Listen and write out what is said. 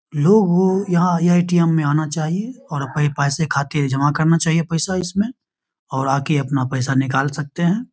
लोगो को यहाँ ए.टी.एम. में आना चाहिए और अपने पैसे खाते जमा करना चाहिए इसमें और आके अपना पैसा निकल सकते है।